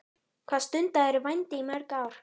Hvað stundaðirðu vændi í mörg ár?